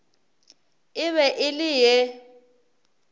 e be e le ye